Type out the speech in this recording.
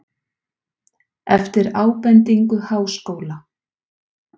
Eftir ábendingu Háskóla